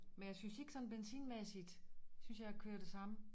Men jeg synes ikke sådan benzinmæssigt synes jeg jeg kører det samme